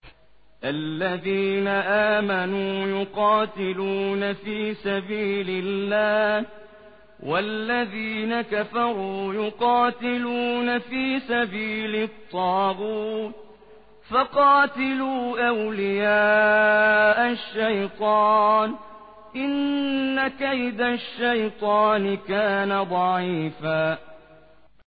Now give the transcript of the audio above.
الَّذِينَ آمَنُوا يُقَاتِلُونَ فِي سَبِيلِ اللَّهِ ۖ وَالَّذِينَ كَفَرُوا يُقَاتِلُونَ فِي سَبِيلِ الطَّاغُوتِ فَقَاتِلُوا أَوْلِيَاءَ الشَّيْطَانِ ۖ إِنَّ كَيْدَ الشَّيْطَانِ كَانَ ضَعِيفًا